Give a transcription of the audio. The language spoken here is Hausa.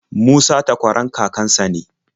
Musa takwaran kakan sa ne.